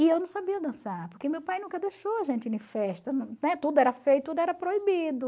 E eu não sabia dançar, porque meu pai nunca deixou a gente ir festa, né, tudo era feio, tudo era proibido.